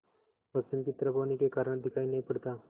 पश्चिम की तरफ होने के कारण दिखाई नहीं पड़ता